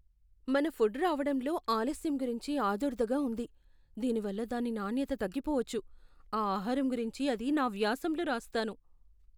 మన ఫుడ్ రావడంలో ఆలస్యం గురించి ఆదుర్దాగా ఉంది. దీనివల్ల దాని నాణ్యత తగ్గిపోవచ్చు, ఆ ఆహారం గురించి అది నా వ్యాసంలో రాస్తాను.